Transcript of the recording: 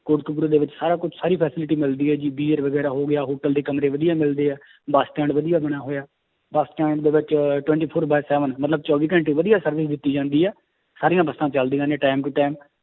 ਕੋਟਕਪੁਰੇ ਦੇ ਵਿੱਚ ਸਾਰਾ ਕੁਛ ਸਾਰੀ facility ਮਿਲਦੀ ਹੈ ਜੀ ਬੀਅਰ ਵਗ਼ੈਰਾ ਹੋ ਗਿਆ hotel ਦੇ ਕਮਰੇ ਵਧੀਆ ਮਿਲਦੇ ਹੈ ਬਸ stand ਵਧੀਆ ਬਣਿਆ ਹੋਇਆ, ਬਸ stand ਦੇ ਵਿੱਚ twenty four by seven ਮਤਲਬ ਚੋਵੀ ਘੰਟੇ ਵਧੀਆ service ਦਿੱਤੀ ਜਾਂਦੀ ਹੈ ਸਾਰੀਆਂ ਬੱਸਾਂ ਚੱਲਦੀਆਂ ਨੇ time to time